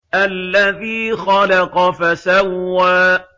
الَّذِي خَلَقَ فَسَوَّىٰ